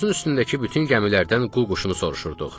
Yolumuzun üstündəki bütün gəmilərdən qu quşunu soruşurduq.